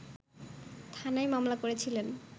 থানায় মামলা করেছিলেন